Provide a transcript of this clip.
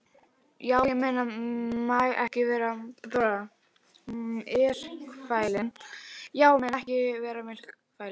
Já, menn mega ekki vera myrkfælnir.